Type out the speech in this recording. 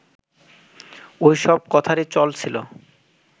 ওই সব কথারই চল ছিল